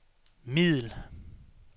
middel